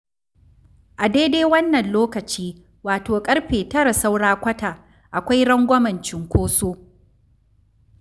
A daidai wannan lokaci, wato ƙarfe tara saura kwata akwai rangwamen cunkoso.